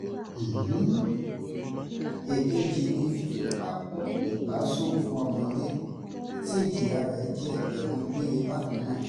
èkejì ni fífipá kó ìbásùn fún ọmọdé tí ìjìyà rẹ̀ jẹ́ ẹ̀wọ̀n gbére bákan náà